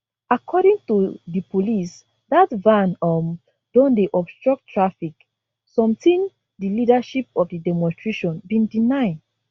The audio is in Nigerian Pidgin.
according to di police dat van um don dey obstruct traffic sometin di leadership of di demonstration bin deny